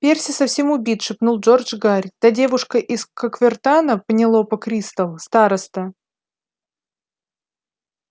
перси совсем убит шепнул джордж гарри та девушка из когвертана пенелопа кристал староста